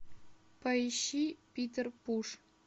поищи питер пуш